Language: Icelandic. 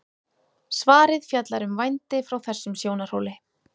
svarið fjallar um vændi frá þessum sjónarhóli